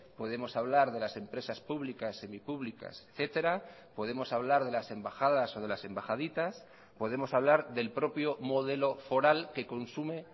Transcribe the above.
podemos hablar de las empresas públicas semipúblicas etcétera podemos hablar de las embajadas o de las embajaditas podemos hablar del propio modelo foral que consume